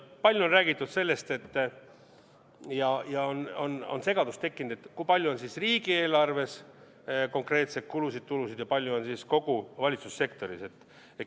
Palju on räägitud sellest ja on segadus tekkinud, et kui palju on siis riigieelarves konkreetseid kulusid-tulusid ja palju on kogu valitsussektoris.